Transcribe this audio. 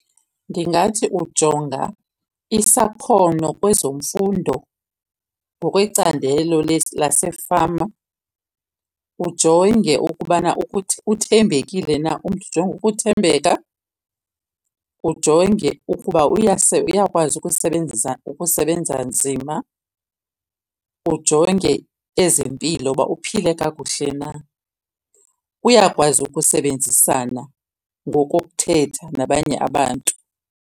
Ndingathi ujonga isakhono kwezemfundo ngokwecandelo lasefama. Ujonge ukubana ukuthi uthembekile na ujonge ukuthembeka. Ujonge ukuba uyakwazi ukusebenzisa, ukusebenza nzima. Ujonge ezempilo uba uphile kakuhle na. Uyakwazi ukusebenzisana ngokokuthetha nabanye abantu.